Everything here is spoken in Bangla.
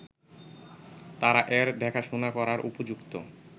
তারা এর দেখাশোনা করার উপযুক্ত